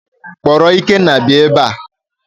Kpọrọ Ikenna bịa ebea!